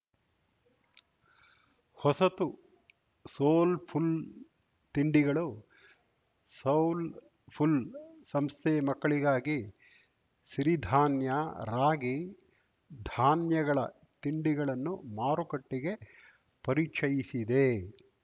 ಹೊಸತು ಸೋಲ್‌ಫುಲ್‌ ತಿಂಡಿಗಳು ಸೌಲ್‌ಫುಲ್‌ ಸಂಸ್ಥೆ ಮಕ್ಕಳಿಗಾಗಿ ಸಿರಿ ಧಾನ್ಯ ರಾಗಿ ಧಾನ್ಯಗಳ ತಿಂಡಿಗಳನ್ನು ಮಾರುಕಟ್ಟೆಗೆ ಪರಿಚಯಿಸಿದೆ